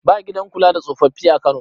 ba gidan kula da tsofaffi a Kano